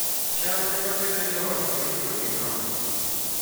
cham ema Pidhoo joot ma yutogi nok